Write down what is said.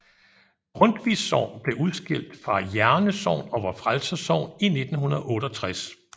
Grundtvigs Sogn blev udskilt fra Jerne Sogn og Vor Frelsers Sogn i 1968